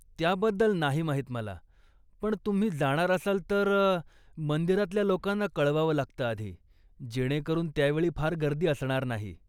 त्याबद्दल नाही माहीत मला, पण तुम्ही जाणार असाल तर मंदिरातल्या लोकांना कळवावं लागतं आधी जेणेकरून त्यावेळी फार गर्दी असणार नाही.